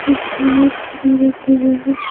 कुछ लाइट्स भी रखे गए हैं।